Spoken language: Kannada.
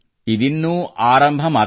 ಇದಿನ್ನೂ ಆರಂಭ ಮಾತ್ರ